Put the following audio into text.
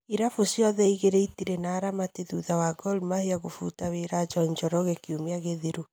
Irabu ciothe igĩrĩ itirĩ na aramati thutha wa Gor Mahia gũbuta wĩra John Njoroge kiumia gĩthiru.